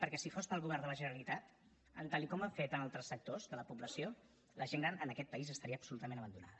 perquè si fos pel govern de la generalitat tal com ha fet en altres sectors de la població la gent gran en aquest país estaria absolutament abandonada